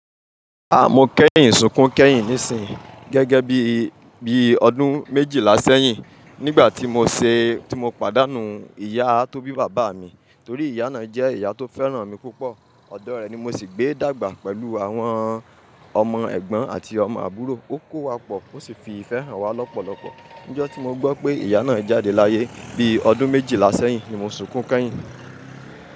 Mo kẹ́yìn, sunkún kẹ́yìn nísìnyí gẹ́gẹ́ bí, bí ọdún méjìlá sẹ́yìn nígbà tí mo ṣe, tí mo pàdánù ìyá tó bí bàbá mi, torí ìyá náà jẹ́ ìyá tó fẹ́ràn mi púpọ̀. Ọ̀dọ̀ rẹ̀ ni mo sì gbé dàgbà pẹ̀lú àwọn ọmọ ẹ̀gbọ́n àti ọmọ àbúrò. Ó kó wa pọ̀, ó sì fi ìfẹ́ hàn wá lọ́pọ̀lọpọ̀. Ní ọjọ́ tí mo gbọ́ pé ìyá náà jáde láyé bí ọdún méjìlá sẹ́yìn ni mo sunkún kẹ́yìn.